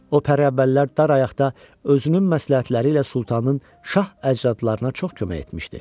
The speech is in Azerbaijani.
O pəriyə qəriblər dar ayaqda özünün məsləhətləri ilə Sultanın şah əcdadlarına çox kömək etmişdi.